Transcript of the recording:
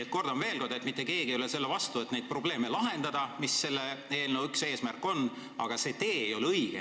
Ma kordan veel kord: mitte keegi ei ole selle vastu, et lahendada probleeme, mis on selle eelnõu teemaks, aga valitud tee ei ole õige.